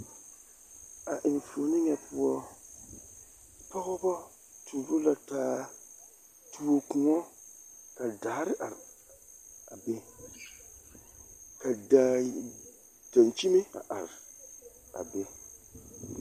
A enfuoni nyɛ poɔ pɔgebɔ tuuro la taa tuo koɔ ka daare are a be ka daŋkyime a are a be.